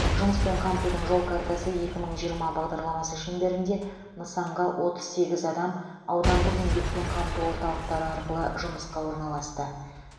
жұмыспен қамтудың жол картасы екі мың жиырма бағдарламасы шеңберінде нысанға отыз сегіз адам аудандық еңбекпен қамту орталықтары арқылы жұмысқа орналасты